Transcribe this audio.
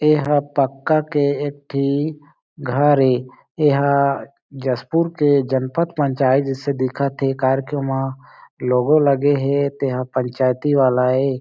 ये ह पक्का के एक ठी घर ए ऐहा जशपुर के जनपत पंचायत जिसे दिखत हे कार के ओमा लोगो लगे हे तेहा पंचायती वाला ऐ।